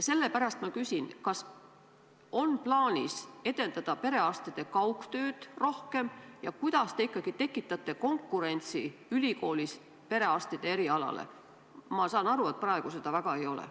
Sellepärast ma küsin, kas on plaanis edendada rohkem perearstide kaugtööd ja kuidas te tekitate konkurentsi ülikoolis perearstide erialale, sest ma saan aru, et praegu seda väga ei ole.